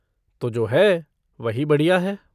तो जो है वही बढ़िया है।